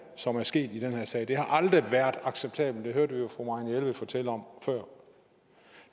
som er sket i den her sag aldrig været acceptable det hørte vi jo fru marianne jelved fortælle om før